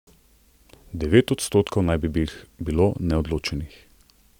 Devet odstotkov naj bi jih bilo neodločenih.